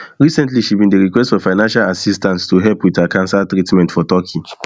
recently she bin request for financial assistance to help wit her cancer treatment for turkey